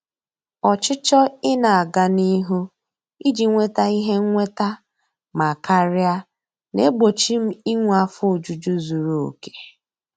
Ọchịchọ ị na-aga n'ihu iji nweta ihe nnweta ma karia na-egbochi m inwe afọ ojuju zuru oke.